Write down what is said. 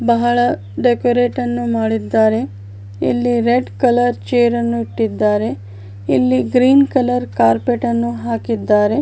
ಬಹಳ ಡೆಕೋರೇಟ್ ನ್ನು ಮಾಡಿದ್ದಾರೆ ಇಲ್ಲಿ ರೆಡ್ ಕಲರ್ ಚೇರ್ ನ್ನು ಇಟ್ಟಿದ್ದಾರೆ ಇಲ್ಲಿ ಗ್ರೀನ್ ಕಲರ್ ಕಾರ್ಪೆಟ್ ನ್ನು ಹಾಕಿದ್ದಾರೆ .